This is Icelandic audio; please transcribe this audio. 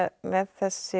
þessi